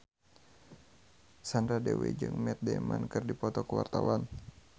Sandra Dewi jeung Matt Damon keur dipoto ku wartawan